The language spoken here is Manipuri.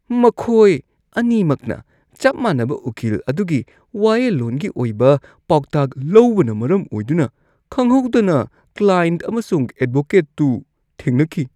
ꯃꯈꯣꯏ ꯑꯅꯤꯃꯛꯅ ꯆꯞ ꯃꯥꯟꯅꯕ ꯎꯀꯤꯜ ꯑꯗꯨꯒꯤ ꯋꯥꯌꯦꯜꯂꯣꯟꯒꯤ ꯑꯣꯏꯕ ꯄꯥꯎꯇꯥꯛ ꯂꯧꯕꯅ ꯃꯔꯝ ꯑꯣꯏꯗꯨꯅ ꯈꯪꯍꯧꯗꯅ ꯀ꯭ꯂꯥꯏꯟꯠ ꯑꯃꯁꯨꯡ ꯑꯦꯗꯚꯣꯀꯦꯠꯇꯨ ꯊꯦꯡꯅꯈꯤ꯫